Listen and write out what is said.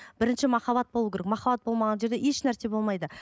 бірінші махаббат болу керек махаббат болмаған жерде ешнәрсе болмайды